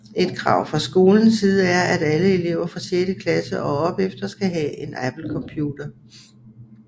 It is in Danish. Et krav fra skolen side er at alle elever fra 6 klasse og op efter skal have en Apple computer